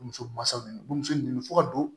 Bamuso masaw nɛ bamuso nɛnɛ fɔ ka don